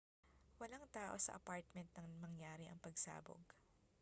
walang tao sa apartment nang mangyari ang pagsabog